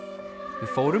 fórum